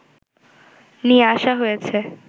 নিয়ে আসা হয়েছে